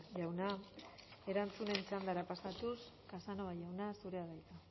jauna erantzunen txandara pasatuz casanova jauna zurea da hitza